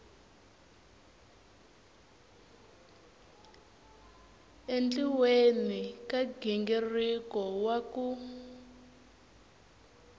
endliweni ka nghingiriko wa ku